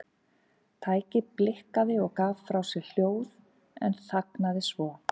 Tækið blikkaði og gaf frá sér hljóð en þagnaði svo.